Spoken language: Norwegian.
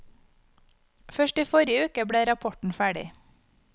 Først i forrige uke ble rapporten ferdig.